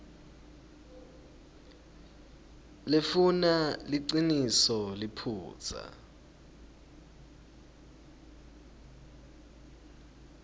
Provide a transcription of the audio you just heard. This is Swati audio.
lefuna liciniso liphutsa